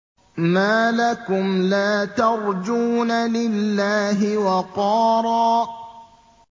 مَّا لَكُمْ لَا تَرْجُونَ لِلَّهِ وَقَارًا